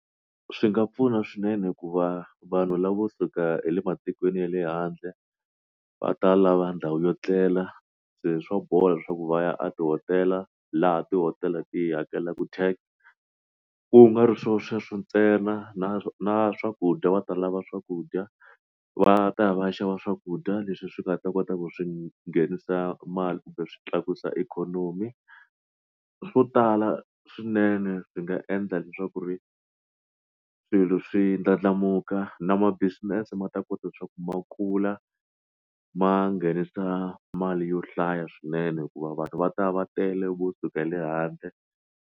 Swi nga pfuna swinene ku va vanhu lavo suka ematikweni ya le handle va ta lava ndhawu yo etlela se swa bola leswaku va ya a tihotela laha tihotela ti hakelaku tax ku nga ri swilo sweswo ntsena na na swakudya va ta lava swakudya va ta ya va ya xava swakudya leswi swi nga ta kota ku swi nghenisa mali kumbe swi tlakusa ikhonomi swo tala swinene swi nga endla leswaku ku ri swilo swi ndlandlamuka na ma business ma ta kota leswaku ma khula ma nghenisa mali yo hlaya swinene hikuva vanhu va ta va tele vo suka le handle.